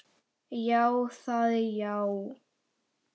Já, það já.